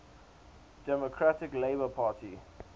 democratic labour party